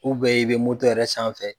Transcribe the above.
i bɛ moto yɛrɛ sanfɛ.